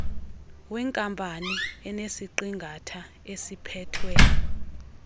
wenkampani enesiqingatha esiphethwe